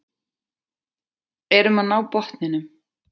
Erum að ná botninum